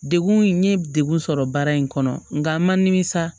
Degun n ye degun sɔrɔ baara in kɔnɔ nka ma nimisa